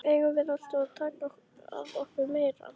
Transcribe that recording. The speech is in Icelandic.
Eigum við alltaf að taka að okkur meira?